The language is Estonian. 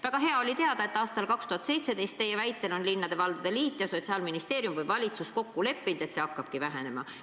Väga hea on teada, et aastal 2017, nagu te ütlesite, leppisid linnade-valdade liit ja Sotsiaalministeerium või valitsus kokku, et see parameeter hakkab vähenema.